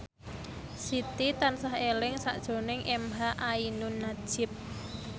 Siti tansah eling sakjroning emha ainun nadjib